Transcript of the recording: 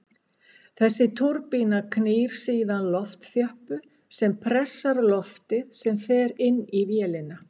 Þessi túrbína knýr síðan loftþjöppu sem pressar loftið sem fer inn á vélina.